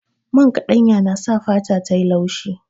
Man kaɗanya yana sa fata tayi laushi